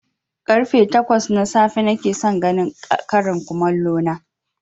Karfe takwas na safe nakeson ganin ƙarin komallo na